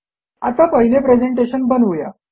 आता पहिले प्रेझेंटेशन बनवू या